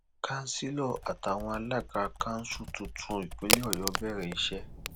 councillor àtàwọn alága kanṣu tuntun ìpínlẹ ọyọ bẹrẹ iṣẹ